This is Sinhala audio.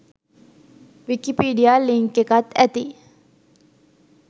විකීපිඩීයා ලින්ක් එකත් ඇති